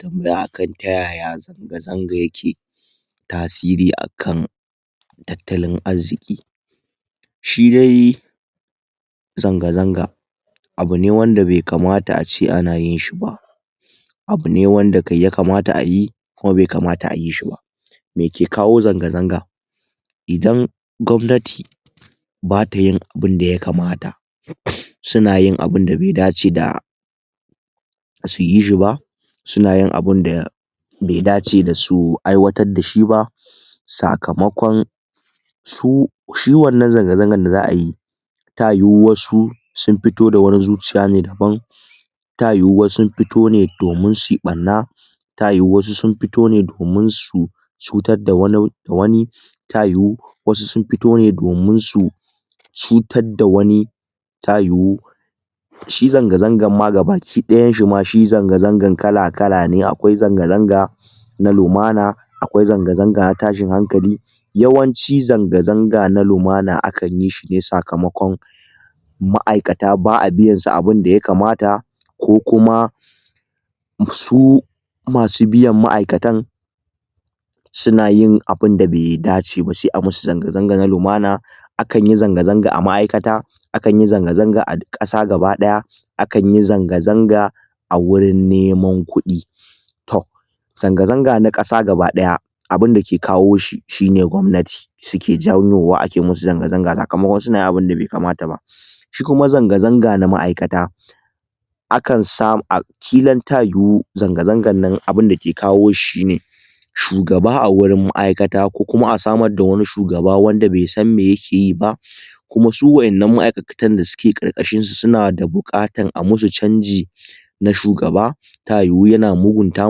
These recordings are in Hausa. tambaya a kan tayaya zanga-zanga yake tasiri a kan tattalin azziƙi. Shi dai zanga-zanga abu ne wanda bai kamata ace anayin shi ba, abu ne wanda kai ya kamata ayi, kuma bai kamata ayi shi ba. Me ke kawo zanga-zanga, idan gwamnati bata yin abunda ya kamata um suna yin abinda be dace da su yi shi ba, suna yin abinda be dace da su aiwatad dashi ba, sakamakon su shi wannan zanga-zangan da za'ayi ta yuwu wasu sun fito da wani zuciya ne daban, ta yuwu wasu sun fito ne domun sui ɓanna, ta yuwu wasu sun fito ne domin su cutar da wan da wani, ta yuwu wasu sun fito ne domin su cutad da wani, ta yuwu shi zanga-zangan ma gabaki ɗayan shi ma shi zanga-zangan kala-kala ne, akwai zanga-zanga na lumana, akwai zanga-zanga na tashin hankali, yawanci zanga-zanga na lumana a kan yishi ne sakamakon ma'aikata ba'a biyan su abunda ya kamata, ko kuma su masu biyan ma'aikatan suna yin abinda be dace ba, sai a musu zanga-zanga na lumana, a kan yi zanga-zanga a ma'aikata, a kan yi zanga-zanga a duk ƙasa gaba ɗaya, akan yi zanga-zanga a wurin neman kuɗi. Toh, zanga-zanga na ƙasa gaba ɗaya abunda ke kawo shi shine gwamnati, suke janwowa ake musu zanga-zanga sakamakon sunayin abunda bai kamata ba. Shi kuma zanga-zanga na ma'aikata, a kan samu kilan ta yuwu zanga-zangan nan abunda ke kawo shi shine shugaba a wurin ma'aikata ko kuma a samar da wani shugaba wanda be san me yake yi ba, kuma su wa'innan ma'aikatan da suke ƙarƙashin sa suna da buƙatar a musu canji na shugaba, ta yuwu yana mugunta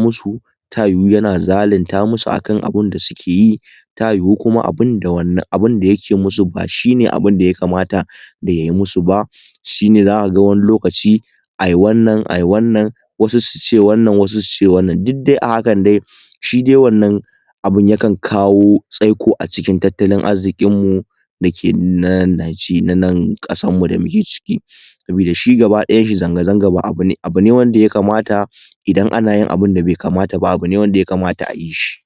musu, ta yuwu yana zalunta musu akan abinda sukeyi, ta yuwu kuma abunda wannan abunda yake musu ba shine abunda ya kamata da yai musu ba, shine zaka ga wani lokaci ai wannan ai wannan, wasu suce wannan wasu suce wannan, dud dai a hakan dai shi dai wannan abun yakan kawo tsaiko a cikin tattalin azziƙin mu dake na nan naje na nan ƙasan mu da muke ciki. Sabida shi gaba ɗayan shi zanga-zanga ba abu ne abu ne wanda ya kamata idan anayin abunda be kamata ba abu ne wanda ya kamata ayi shi.